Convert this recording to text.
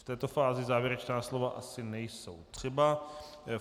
V této fázi závěrečná slova asi nejsou třeba.